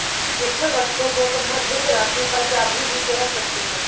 इस वस्तु को संबंधित राशि का चाभी भी कह सकते हैं